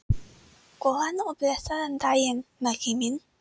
Góðan og blessaðan daginn, Maggi minn.